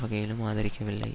வகையிலும் ஆதரிக்கவில்லை